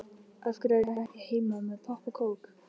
Af hverju er ég ekki heima með popp og kók?